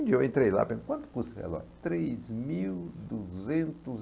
Um dia eu entrei lá e perguntei, quanto custa esse relógio? Três mil duzentos e